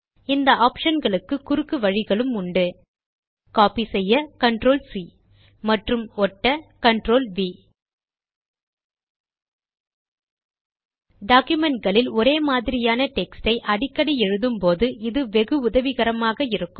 இந்த ஆப்ஷன் களுக்கு குறுக்கு வழிகளும் உண்டு கோப்பி செய்ய CTRLC மற்றும் ஒட்ட CTRLV டாக்குமென்ட் களில் ஒரே மாதிரியான டெக்ஸ்ட் யை அடிக்கடி எழுதும் போது இது வெகு உதவிகரமாக இருக்கும்